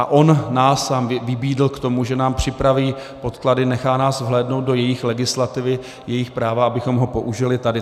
A on sám nás vybídl k tomu, že nám připraví podklady, nechá nás vhlédnout do jejich legislativy, jejich práva, abychom ho použili tady.